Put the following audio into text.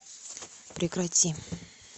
прекрати